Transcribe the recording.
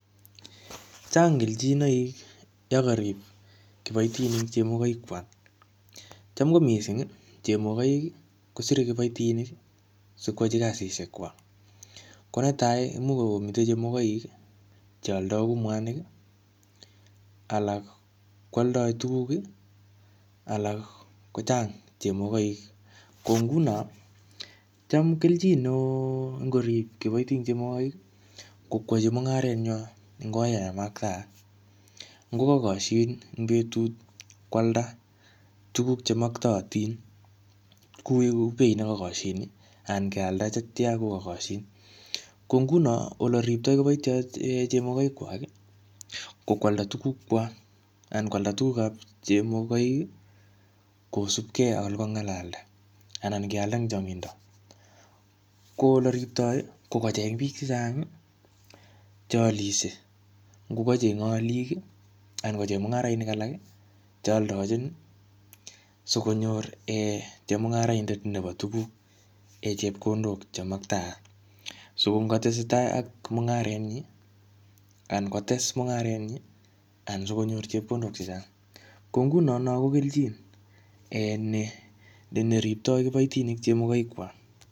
Chang keljinoik yakarip kibaitinik chemogoik kwak. Cham ko missing, chemogoik kosire kibaitinik sikwachi kasishek kwak. Ko netai, imuch komite chemogoik che aldaun mwanik. Alak kwaldoi tuguk, alak kochang chemogoik. Ko nguno, cham keljin ne oo ngorip kibaitinik chemogoik, ko kwachi mung'aret nywa eng oret en makataat. Ngokakashin eng betut kwalda tuguk che maktaatin kuu beit nekakoshin, anan kealda chetia kokakoshin. Ko nguno, ole riptoi kiboitoi chemogoik kwak, ko kwalda tuguk kwak. Anan kwalda tugukap chemogoik, kosupkey ak ole kongalalda. Anan kealda eng chnagindo. Ko ole riptoi, ko kocheng biik chechang che alisiie. Ngokachenge alik, anan ko chemung'arainik alak chealdochin sikonyor um chemung'araindet nebo tuguk chepkondok che maktaat. Siko ngatesetai ak mung'aret nyi, anan kotes mung'aret nyi, anan sikonyor chepkondok chechang. Ko nguno no ko keljin um ne-neriptoi kibaitinik chemogaik kwak.